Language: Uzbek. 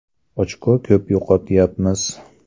Ochko ko‘p yo‘qotayapmiz.